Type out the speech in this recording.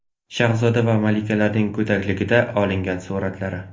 Shahzoda va malikalarning go‘dakligida olingan suratlari .